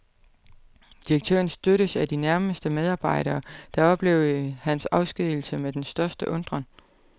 Direktøren støttes af sine nærmeste medarbejdere, der oplevede hans afskedigelse med den største undren.